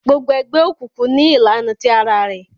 Gbogbo egbeokunkun ní ìlànà tí àrà rẹ